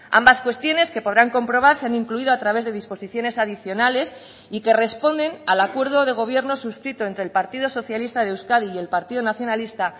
ambas cuestiones que podrán comprobar se han incluido a través de disposiciones adicionales y que responden al acuerdo de gobierno suscrito entre el partido socialista de euskadi y el partido nacionalista